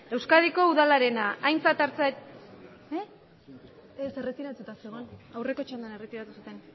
euskadiko udalena